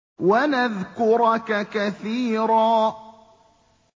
وَنَذْكُرَكَ كَثِيرًا